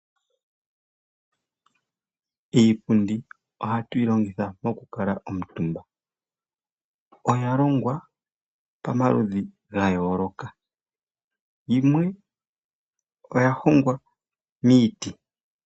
Iipundi ohatu yi longitha oku kala omutumba. Oya longwa pamaludhi gayooloka, yimwe oya hongwa miiti.